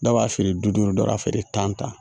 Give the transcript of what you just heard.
Dɔw b'a feere bi duuru dɔw b'a feere tan